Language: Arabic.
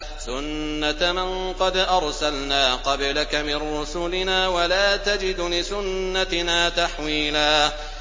سُنَّةَ مَن قَدْ أَرْسَلْنَا قَبْلَكَ مِن رُّسُلِنَا ۖ وَلَا تَجِدُ لِسُنَّتِنَا تَحْوِيلًا